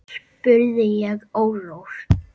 spurði ég órór.